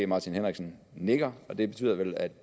martin henriksen nikker og det betyder vel at